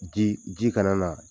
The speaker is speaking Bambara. Ji ji kana na